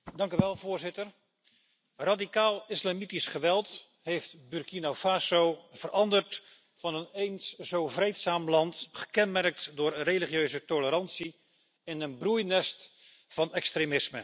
Voorzitter, radicaalislamitisch geweld heeft Burkina Faso veranderd van een eens zo vreedzaam land, gekenmerkt door religieuze tolerantie, in een broeinest van extremisme.